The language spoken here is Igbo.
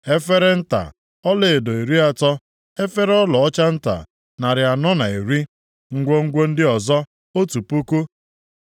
efere nta ọlaedo iri atọ (30), efere ọlaọcha nta narị anọ na iri (410), ngwongwo ndị ọzọ otu puku (1,000).